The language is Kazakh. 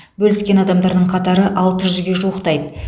бөліскен адамдарының қатары алты жүзге жуықтайды